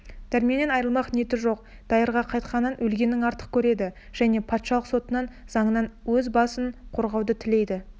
дәрменнен айрылмақ ниеті жоқ дайырға қайтқаннан өлгенін артық көреді және патшалық сотынан заңынан өз басын қорғауды тілейді